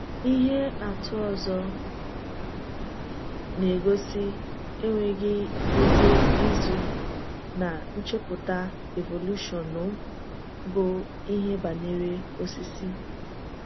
Ihe àtụ ọzọ na-egosi enweghị èzì izu ná nchepụta evolushọn bụ ihe banyere osisi.